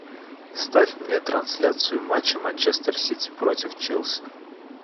ставь мне трансляцию матча манчестер сити против челси